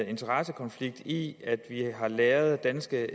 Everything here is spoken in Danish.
interessekonflikt i at vi har lagret danske